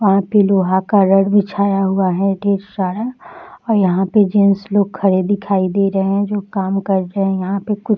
यहाँ पे लोहा का रड बिछाया हुआ है ढेर सारा और यहाँ पे जेन्स लोग खड़े दिखाई दे रहे है जो काम कर रहे है यहाँ पे कुछ --